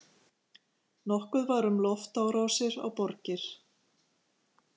Nokkuð var um loftárásir á borgir.